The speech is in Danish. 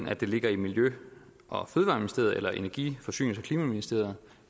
at det ligger i miljø og fødevareministeriet eller energi forsynings og klimaministeriet